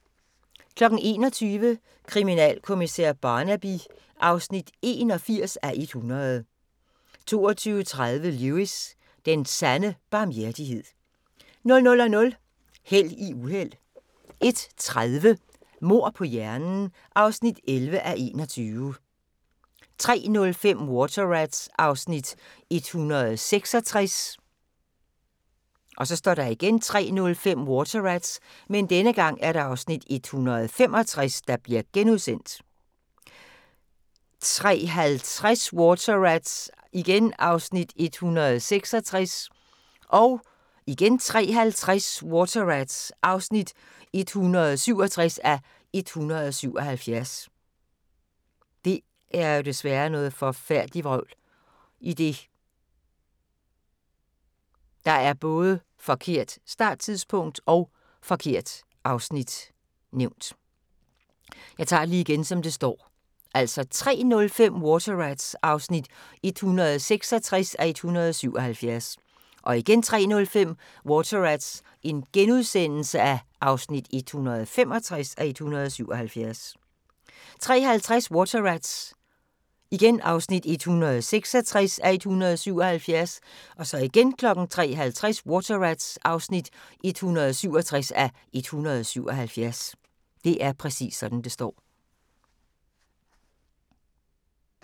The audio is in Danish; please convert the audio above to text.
21:00: Kriminalkommissær Barnaby (81:100) 22:30: Lewis: Den sande barmhjertighed 00:00: Held i uheld 01:30: Mord på hjernen (11:21) 03:05: Water Rats (166:177) 03:05: Water Rats (165:177)* 03:50: Water Rats (166:177) 03:50: Water Rats (167:177)